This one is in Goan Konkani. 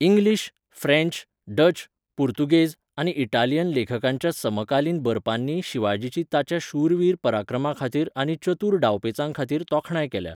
इंग्लीश, फ्रँच, डच, पुर्तुगेज आनी इटालियन लेखकांच्या समकालीन बरपांनी शिवाजीची ताच्या शूरवीर पराक्रमाखातीर आनी चतूर डावपेंचाखातीर तोखणाय केल्या.